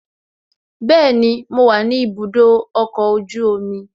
Bẹẹni, mo wa ni ibùdó ọkọ̀ ojú omi